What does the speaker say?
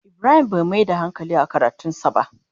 Ibrahim Bai Mai da hankali a karatun sa ba.